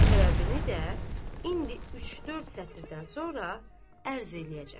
Səbəbini də indi üç-dörd sətirdən sonra ərz eləyəcəm.